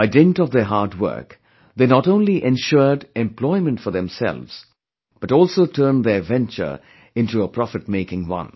By dint of their hard work, they not only ensured employment for themselves, but also turned their venture into a profitmaking one